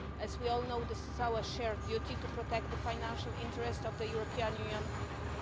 As we all know, it is our shared duty to protect the financial interests of the European Union.